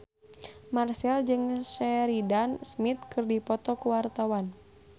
Marchell jeung Sheridan Smith keur dipoto ku wartawan